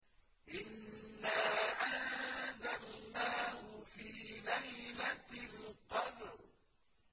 إِنَّا أَنزَلْنَاهُ فِي لَيْلَةِ الْقَدْرِ